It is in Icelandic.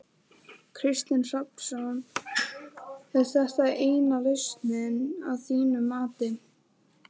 Kristinn Hrafnsson: Er þetta eina lausnin að þínu mati?